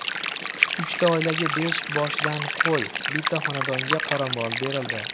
Uchta oilaga besh boshdan qo‘y, bitta xonadonga qoramol berildi.